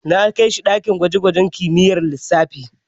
Na kai shi ɗakin gwaje-gwaje kimiyyar lissafi.